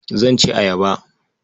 Zan ci ayaba.